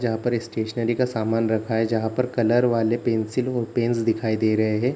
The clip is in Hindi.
जहाँ पर एक स्टेशनरी का सामान रखा है जहाँ पर कलर वाले पेंसिल और पेनस दिखाई दे रहे हैं।